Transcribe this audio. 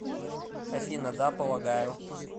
афина да полагаю